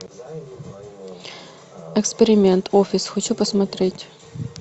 эксперимент офис хочу посмотреть